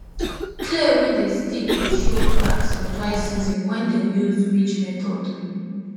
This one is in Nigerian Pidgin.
clay wey dey sticky dey show cracks for dry season when dem use ridge method